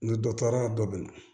Ni dɔ taara dɔ bɛ na